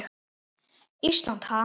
Ísland, ha?